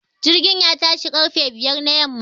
Jirgin ya tashi ƙarfe biyar na yamma